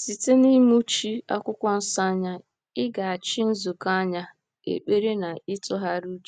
Site n’ịmụchi Akwụkwọ Nsọ anya, ịgachi nzukọ anya, ekpere, na ịtụgharị uche.